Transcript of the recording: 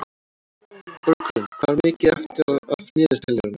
Borgrún, hvað er mikið eftir af niðurteljaranum?